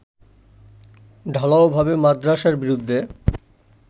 ঢালাও ভাবে মাদ্রাসার বিরুদ্ধে